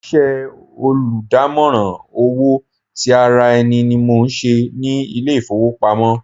Iṣẹ́ olùdámọ̀ràn owó ti ara ẹni ni mò ń ṣe ní ilé ìfowópamọ́.